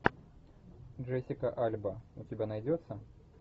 джессика альба у тебя найдется